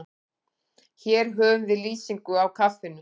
Hér höfum við lýsingu á kaffinu.